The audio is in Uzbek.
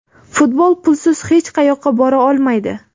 Futbol pulsiz hech qayoqqa bora olmaydi.